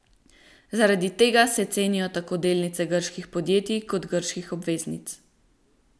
Zaradi tega se cenijo tako delnice grških podjetij kot grških obveznic.